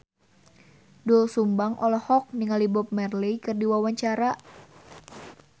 Doel Sumbang olohok ningali Bob Marley keur diwawancara